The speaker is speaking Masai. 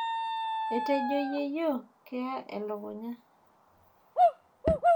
Etejo yeyio keya elukunya.